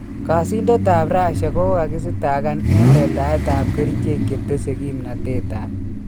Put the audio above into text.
Kaasintetab Russia kokakistakaan en letaetab kericheek chetese kimnatetab